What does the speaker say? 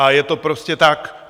A je to prostě tak.